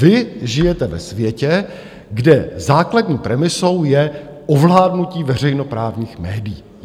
Vy žijete ve světě, kde základní premisou je ovládnutí veřejnoprávních médií.